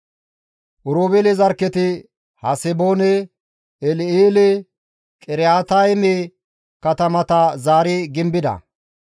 Oroobeele zarkketi Haseboone, El7eele, Qiriyaatayme katamata zaari gimbida.